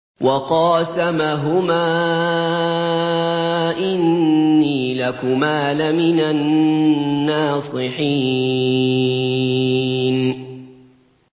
وَقَاسَمَهُمَا إِنِّي لَكُمَا لَمِنَ النَّاصِحِينَ